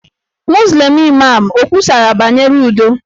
Muzlim Imam o kwusara banyere udo?